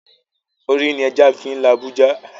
Orí ni ẹja fi ń la ibú ja